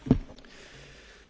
Pani Przewodnicząca!